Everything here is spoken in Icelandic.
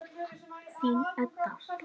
Þín, Edda.